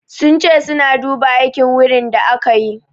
Sun ce suna duba aikin wiring din da aka yi.